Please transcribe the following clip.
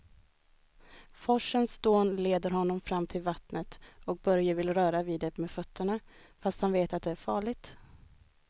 Forsens dån leder honom fram till vattnet och Börje vill röra vid det med fötterna, fast han vet att det är farligt.